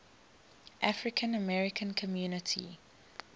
african american community